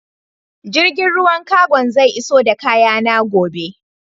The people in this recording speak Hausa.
Jirgin ruwan cargon zai iso da kayana gobe.